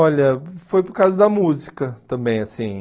Olha, foi por causa da música também assim.